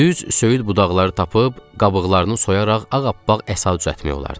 Düz söyüd budaqları tapıb, qabıqlarını soyaraq ağappaq əsa düzəltmək olardı.